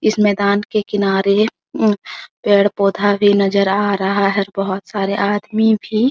इस मैदान के किनारे उं पेड़-पौधा भी नजर आ रहा है बहुत सारे आदमी भी --